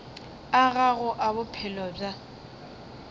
a gago a bophelo bja